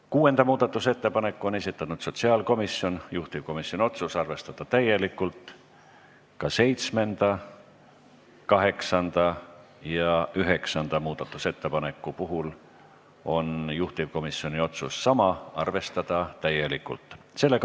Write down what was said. Kuuenda muudatusettepaneku on esitanud sotsiaalkomisjon, juhtivkomisjoni otsus arvestada täielikult, ka seitsmenda, kaheksanda ja üheksanda muudatusettepaneku puhul on juhtivkomisjon otsus sama: arvestada täielikult.